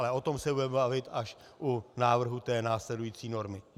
Ale o tom se budeme bavit až u návrhu té následující normy.